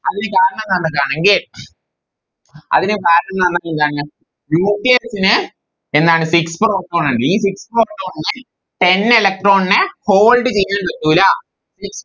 അതിൽ കാരണം കണ്ടതാണതെങ്കിൽ അതിന് കാരണംന്ന് പറഞ്ഞാൽ എന്താണ് Nucleus നെ എന്നാണ് Six four ആണെങ്കിൽ ഈ Six four electron നെ Ten electron നെ Hold ചെയ്ത നിർത്തൂല